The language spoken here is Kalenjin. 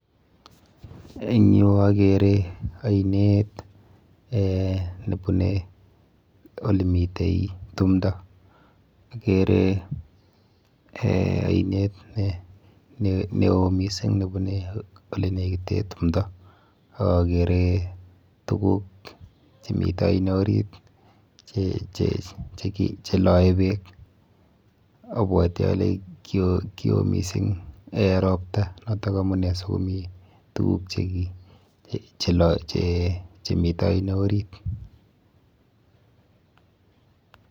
Eng yu akere ainet eh nebune olemite tumdo. Akere eh ainet neo mising nebune olenekite tumdo ak akere tuguk chemite aino orit cheloe beek, abwoti ale kio mising eh ropta noto amune sikomi tuguk chemite oino orit.